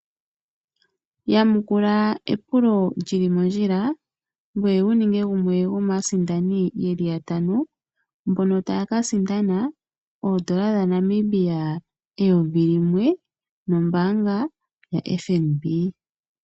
Yamukula epulo lyili mondjila gwee wuninge gumwe gwomaasindani yeli yatano mbono taakasindana N$1 000 nombanga yaFNB.